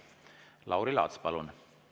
Lauri Laats, palun!